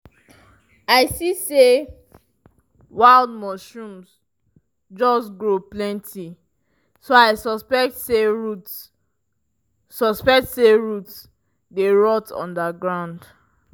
dem dey whistle three times after bird silence to check di air if pests dey.